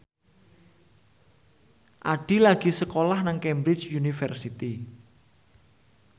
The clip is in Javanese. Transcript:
Addie lagi sekolah nang Cambridge University